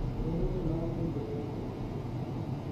ureren tienywogik tugul chebo juliani pop